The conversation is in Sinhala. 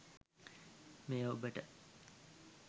මෙය ඔබට